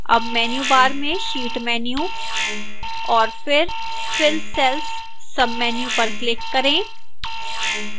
अब menu bar में sheet menu और फिर fill cells menu पर click करें